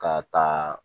Ka taa